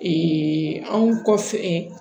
anw kɔfɛ